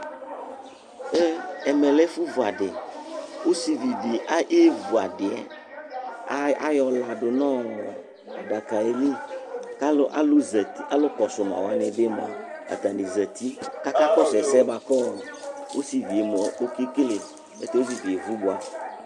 Ɛmɛ lɛ ɛfu vuadì, ɔsivíe di évu adiɛ, ayɔ là du nɔ̃ adaka yɛli, k'alu zati alukɔsu ùlɔ waniɛ mua atani zati k'aka kɔsu ɛsɛ bua ku ɔsivie mua ɔka ekele, ya tɛ ɔsivie evú bua